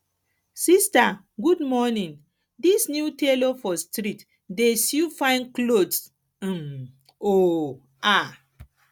sista good morning dis new tailor for street dey sew fine clothes um um